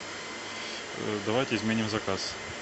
давайте изменим заказ